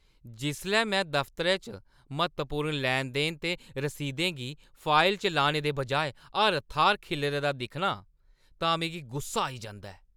जिसलै मैं दफतरै च म्हत्तवपूर्ण लैन-देन ते रसीदें गी फाइलें च लाने दे बजाए हर थाह्‌र खिल्लरे दा दिक्खनी आं तां मिगी गुस्सा आई जंदा ऐ।